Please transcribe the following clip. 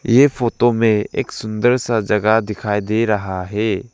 ये फोटो में एक सुंदर सा जगह दिखाई दे रहा है।